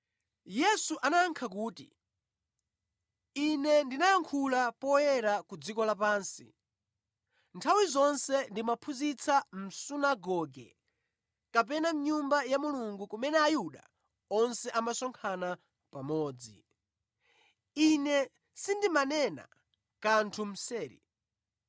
Yesu anayankha kuti, “Ine ndinayankhula poyera ku dziko lapansi. Nthawi zonse ndimaphunzitsa mʼsunagoge kapena mʼNyumba ya Mulungu kumene Ayuda onse amasonkhana pamodzi. Ine sindimanena kanthu mseri.